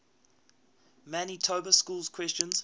manitoba schools question